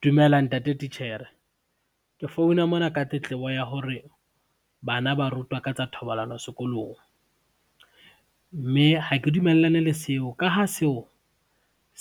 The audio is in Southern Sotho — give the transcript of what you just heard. Dumela ntate titjhere, ke founa mona ka tletlebo ya hore bana ba rutwa ka tsa thobalano sekolong. Mme ha ke dumellane le seo, ka ha seo,